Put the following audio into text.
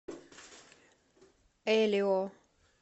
элио